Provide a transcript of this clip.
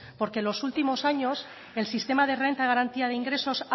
porque en los últimos años el sistema de renta de garantía de ingresos